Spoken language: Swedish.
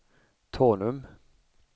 Tanum